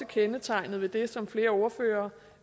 kendetegnet ved det som flere ordførere